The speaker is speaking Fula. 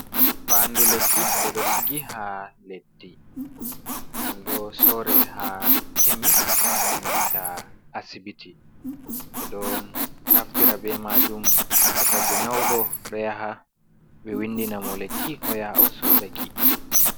Faandu lekki ɓe ɗo sigi haa leddi, ɗum ɗo sore haa kemis, e nanta asibiti. Ɓe ɗo naftira be maajum to tagu nyaawɗo ɗo yaha ɓe winndina mo lekki o yaha o soodaki.